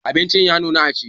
Abinci ya nuna a ci.